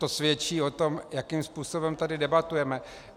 To svědčí o tom, jakým způsobem tady debatujeme.